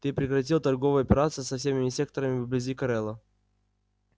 ты прекратил торговые операции со всеми секторами вблизи корела